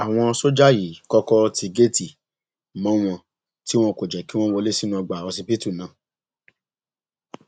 àwọn sójà yìí kọkọ ti géètì mọ wọn tí wọn kò jẹ kí wọn wọlé sínú ọgbà ọsibítù náà